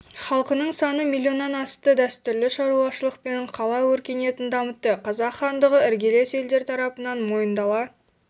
халқының саны миллионнан асты дәстүрлі шаруашылық пен қала өркениетін дамытты қазақ хандығы іргелес елдер тарапынан мойындала